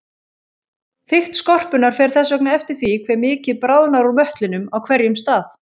Þykkt skorpunnar fer þess vegna eftir því hve mikið bráðnar úr möttlinum á hverjum stað.